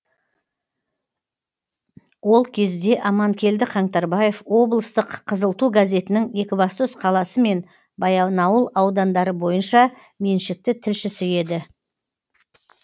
ол кезде аманкелді қаңтарбаев облыстық қызыл ту газетінің екібастұз қаласы мен баянауыл аудандары бойынша меншікті тілшісі еді